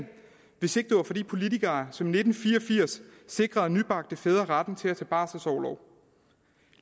hvis ikke det var for de politikere som i nitten fire og firs sikrede nybagte fædre retten til at tage barselorlov